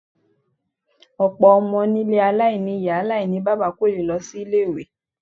Ọ̀pọ̀ ọmọ nílé aláìní ìyá aláìníbaba kò lè lọ sí ilé-ìwé.